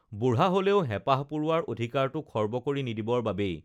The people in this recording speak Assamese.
বুঢ়া হলেও হেপাঁহ পূৰোৱাৰ অধিকাৰটো খৰ্ব কৰি নিদিবৰ বাবেই